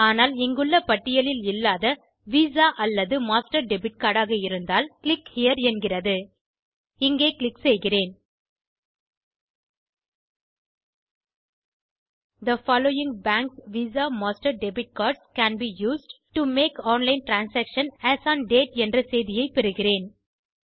ஆனால் இங்குள்ள பட்டியலில் இல்லாத விசா அல்லது மாஸ்டர் டெபிட் cardஆக இருந்தால் கிளிக் ஹெரே என்கிறது இங்கே க்ளிக் செய்கிறேன் the following banks visa master debit cards can be used to make online transaction as on date என்ற செய்தியை பெறுகிறேன்